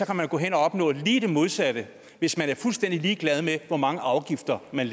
kan man gå hen at opnå lige det modsatte hvis man er fuldstændig ligeglad med hvor mange afgifter man